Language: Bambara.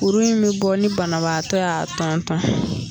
Kuru in bɛ bɔ ni banabaatɔ y'a tɔntɔn .